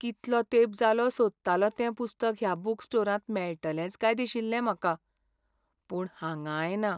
कितलो तेंप जालो सोदतालों तें पुस्तक ह्या बूक स्टोरांत मेळटलेंच काय दिशिल्लें म्हाका. पूण हांगांय ना.